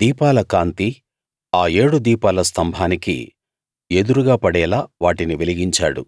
దీపాల కాంతి ఆ ఏడు దీపాల స్తంభానికి ఎదురుగా పడేలా వాటిని వెలిగించాడు